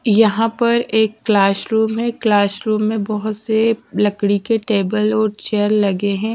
यहाँ पर एक क्लास रूम है क्लास रूम में बोहोत सारे लकड़ी के टेबल और चेयर लगे है।